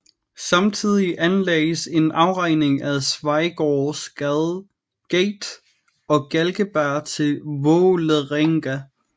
Samtidig anlagdes en afgrening ad Schweigaards gate og Galgeberg til Vålerenga